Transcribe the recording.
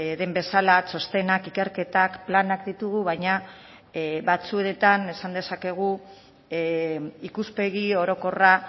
den bezala txostenak ikerketak planak ditugu baina batzuetan esan dezakegu ikuspegi orokorra